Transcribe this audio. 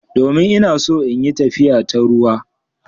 Domin ina so in yi tafiya ta ruwa.